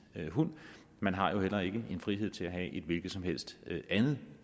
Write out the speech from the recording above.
hund man har jo heller ikke en frihed til at have et hvilket som helst andet